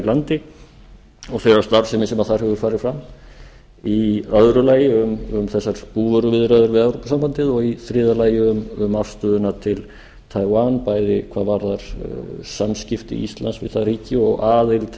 landi og þeirrar starfsemi sem þar hefur farið fram í öðru lagi um þessar búvöruviðræður við evrópusambandið og í þriðja lagi um afstöðuna til taiwan bæði hvað varðar samskipti íslands við það ríki og aðild